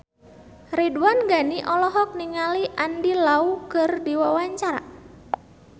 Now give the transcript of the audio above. Ridwan Ghani olohok ningali Andy Lau keur diwawancara